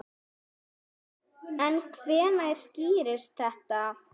En hvenær skýrist þetta?